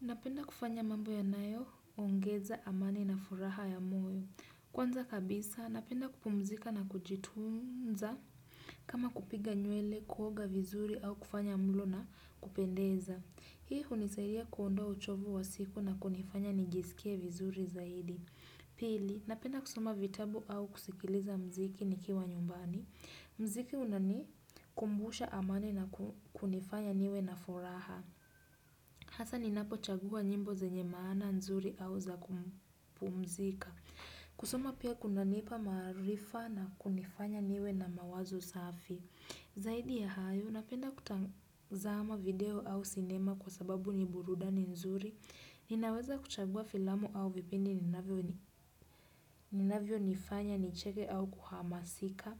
Napenda kufanya mambo yanayo, ongeza amani na furaha ya moyo. Kwanza kabisa, napenda kupumzika na kujitunza. Kama kupiga nywele, kuoga vizuri au kufanya mlo na kupendeza. Hii hunisaidia kuondoa uchovu wa siku na kunifanya nijisikie vizuri zaidi. Pili, napenda kusoma vitabu au kusikiliza mziki nikiwa nyumbani. Mziki unani kumbusha amani na kunifanya niwe na furaha. Hasa ninapochagua nyimbo zenye maana nzuri au za kupumzika. Kusuma pia kundanipa marifa na kunifanya niwe na mawazo safi. Zaidi ya hayo, napenda kutazama video au cinema kwa sababu ni burudani nzuri. Ninaweza kuchagua filamu au vipindi ninavyonifanya nicheke au kuhamasika.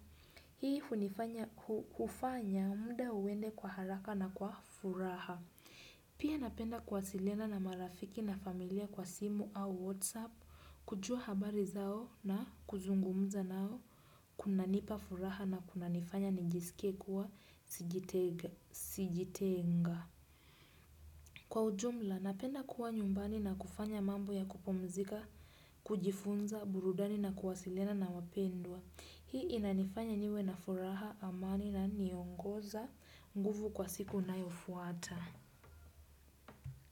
Hii hufanya mda uende kwa haraka na kwa furaha. Pia napenda kuwasiliana na marafiki na familia kwa simu au whatsapp kujua habari zao na kuzungumza nao kunanipa furaha na kunanifanya nijisikie kuwa sijitenga. Kwa ujumla napenda kuwa nyumbani na kufanya mambo ya kupumzika, kujifunza, burudani na kuwasilena na wapendwa. Hii inanifanya niwe na furaha amani na niongoza nguvu kwa siku inayofuata.